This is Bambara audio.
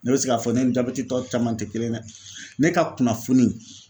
Ne bɛ se k'a fɔ ne ni jabɛti tɔ caman tɛ kelen ye dɛ ne ka kunnafoni